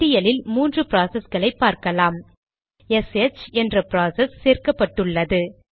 பட்டியலில் 3 ப்ராசஸ்களை பார்க்கலாம்எஸ்ஹெச் என்ற ப்ராசஸ் சேர்க்கப்பட்டுள்ளது